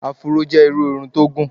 Afuró jẹ́ irú irun tó gùn.